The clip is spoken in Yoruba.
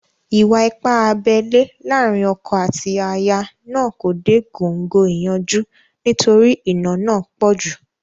Ìwà-ipá abẹ́lẹ́ láàrin ọkọ àti aya náà kò dé góńgó ìyanjú nítorí ìnà náà pọ̀ jù